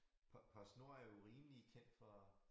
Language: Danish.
PostNord er jo rimelig kendt for